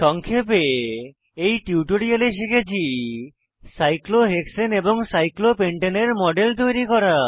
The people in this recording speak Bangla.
সংক্ষেপে এই টিউটোরিয়ালে শিখেছি সাইক্লোহেক্সেন এবং সাইক্লোহপেন্টেনের মডেল তৈরী করা